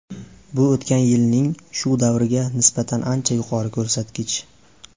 Bu o‘tgan yilning shu davriga nisbatan ancha yuqori ko‘rsatkich.